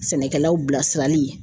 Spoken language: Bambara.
Sɛnɛkɛlaw bilasirali